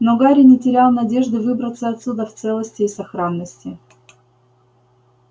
но гарри не терял надежды выбраться отсюда в целости и сохранности